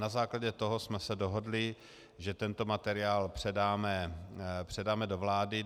Na základě toho jsme se dohodli, že tento materiál předáme do vlády.